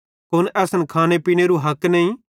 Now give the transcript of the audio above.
कुन असन खाने पीनेरू हक नईं